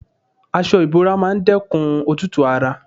Aṣọ ìbora máa dẹ́kun òtútù ara.